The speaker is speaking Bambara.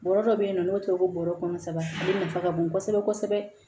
Bɔrɔ dɔ bɛ yen nɔ n'o tɛ ko bɔrɔ kɔnɔ saba ale nafa ka bon kosɛbɛ kosɛbɛ